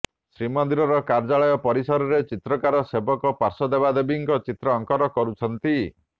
ଶ୍ରୀମନ୍ଦିର କାର୍ଯ୍ୟାଳୟ ପରିସରରେ ଚିତ୍ରକାର ସେବକ ପାର୍ଶ୍ୱଦେବଦେବୀଙ୍କ ଚିତ୍ର ଅଙ୍କନ କରୁଛନ୍ତି